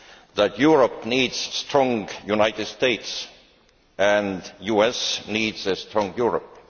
that Europe needs a strong United States and the US needs a strong Europe.